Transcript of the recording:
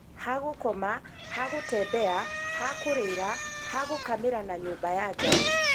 Ha gũkoma, ha gũtembea, ha kũrĩla, ha gũkamĩra na nyũmba ya njaũ